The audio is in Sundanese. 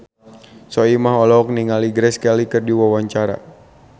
Soimah olohok ningali Grace Kelly keur diwawancara